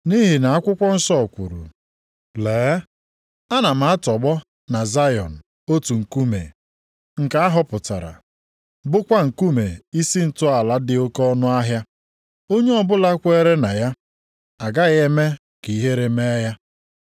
Nʼihi nʼakwụkwọ nsọ kwuru, “Lee, ana m atọgbọ na Zayọn otu nkume, nke a họpụtara, bụkwa nkume isi ntọala dị oke ọnụahịa. Onye ọbụla kweere na ya, agaghị eme ka ihere mee ya.” + 2:6 \+xt Aịz 28:16\+xt*